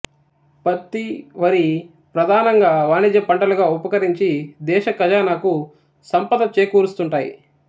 పత్తి వరి ప్రధానంగా వాణిజ్య పంటలుగా ఉపకరించి దేశఖజానాకు సంపద చేకూరుస్తూంటాయి